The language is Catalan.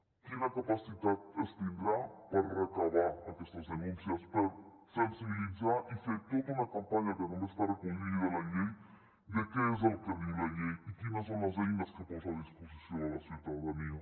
quina capacitat es tindrà per recollir aquestes denúncies per sensibilitzar i fer tota una campanya que també està recollida a la llei de què és el que diu la llei i quines són les eines que posa a disposició de la ciutadania